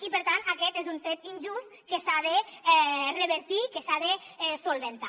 i per tant aquest és un fet injust que s’ha de revertir que s’ha de solucionar